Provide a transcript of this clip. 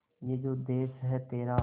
ये जो देस है तेरा